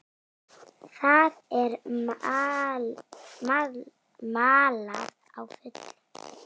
Það er malað á fullu.